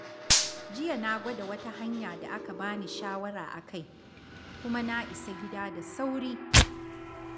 Jiya na gwada wata hanya da aka ba ni shawara akai, kuma na isa gida da sauri.